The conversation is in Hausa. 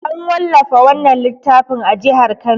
An wallafa wannan littafin a jihar Kano.